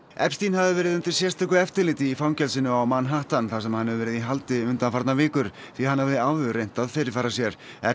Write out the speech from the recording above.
hafði verið undir sérstöku eftirliti í fangelsinu á Manhattan þar sem hann hefur verið í haldi undanfarnar vikur því hann hafði áður reynt að fyrirfara sér